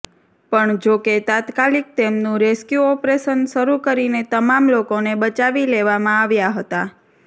પણ જો કે તાત્કાલિક તેમનું રેસ્ક્યુ ઓપરેશન શરૂ કરીને તમામ લોકોને બચાવી લેવામાં આવ્યા હતા